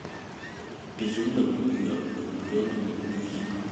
безумно влюбленный мюзикл